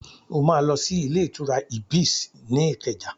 O máa lọ sí ilé-ìtura Ibis ní Ìkẹjà.